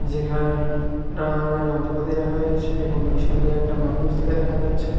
যেখানে নানা ধরণের যন্ত্রপাতি রাখা রয়েছে এবং পেছন দিয়ে একটা মানুষ যেতে দেখা যাচ্ছে ।